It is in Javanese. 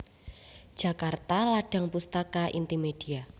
Jakarta Ladang Pustaka Intimedia